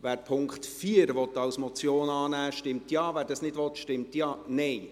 Wer den Punkt 4 als Motion annehmen will, stimmt Ja, wer dies nicht will, stimmt Nein.